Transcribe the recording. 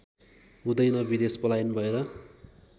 हुँदैन विदेश पलायन भएर